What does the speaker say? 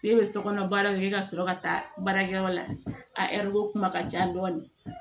K'e bɛ sokɔnɔ baaraw kɛ ka sɔrɔ ka taa baarakɛyɔrɔ la a kuma ka ca dɔɔni